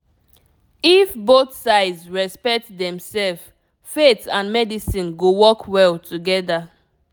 if both sides respect demself faith and medicine go work well together.